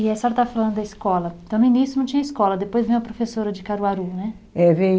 E a senhora está falando da escola, então no início não tinha escola, depois veio a professora de Caruaru, né? É, veio